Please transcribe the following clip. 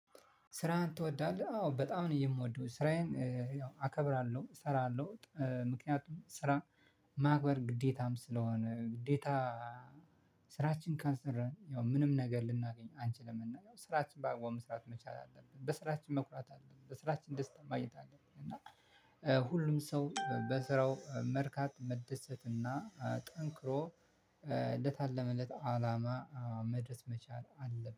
ስራህን ትወዳለህ? አዎ በጣም ነው የምወደው ስራዬን አከብራለሁ እሰራለሁ ምክንያቱም ስራ ማክበር ግዴታም ስለሆነ። ግዴታ ስራችን ካልሰራን ያው ምንም ነገር ልናገኝ አንችልም። እና ስራችንን በአግባቡ መስራት አለብን በስራችን መኩራት አለብን በስራችን ደስታን ማግኘት አለብን። እና ሁሉም ሰው በስራው መርካት መደሰት እና ጠንክሮ ለታለመለት አላማ መድረስ መቻል አለበት